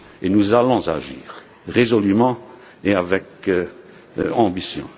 agir. Nous allons agir résolument et avec